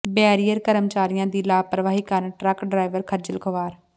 barrier ਕਰਮਚਾਰੀਆਂ ਦੀ ਲਾਪਰਵਾਹੀ ਕਾਰਨ ਟਰੱਕ ਡਰਾਈਵਾਰ ਖੱਜਲ ਖੁਆਰ